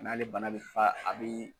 N'ale bana be fa a be